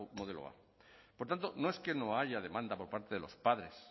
modelo a por tanto no es que no haya demanda por parte de los padres